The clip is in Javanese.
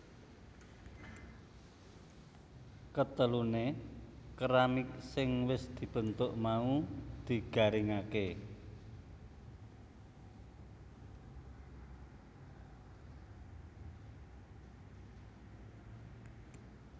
Keteluné keramik sing wis dibentuk mau digaringaké